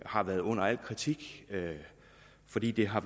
har været under al kritik fordi det har